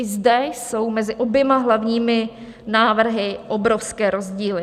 I zde jsou mezi oběma hlavními návrhy obrovské rozdíly.